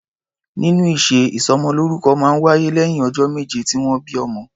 Nínú ìṣe, ìsọmọlórúkọ máa ń wáyé lẹ́yìn ọjọ́ méje tí wọ́n bí ọmọ.